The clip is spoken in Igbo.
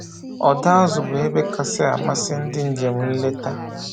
Ọdọ azụ bụ ebe kacha amasị ndị njem nleta